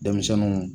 Denmisɛnninw